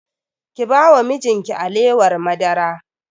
Ki ba wa mijin ki alewar madara!